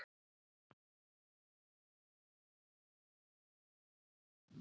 þessi gögn eru nú í þjóðskjalasafni íslands við laugaveg